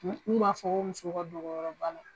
N'u b'a fɔ ko musow ka dogoyɔrɔ bana.